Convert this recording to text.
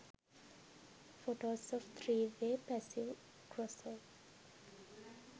photos of 3 way passive crossover